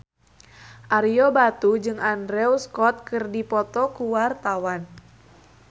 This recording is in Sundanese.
Ario Batu jeung Andrew Scott keur dipoto ku wartawan